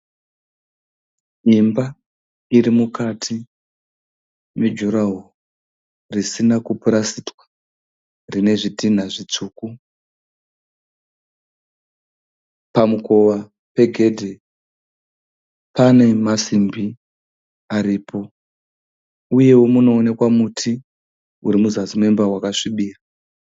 Imba irimukati mejuraho risina kupurasitwa rine zvitinha zvitsvuku. Pamukova pegedhe pane masimbi aripo uyewo panoonekwa muti urimuzasi memba wakasvibira.